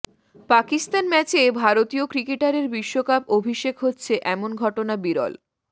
পাকিস্তান ম্যাচে ভারতীয় ক্রিকেটারের বিশ্বকাপ অভিষেক হচ্ছে এমন ঘটনা বিরল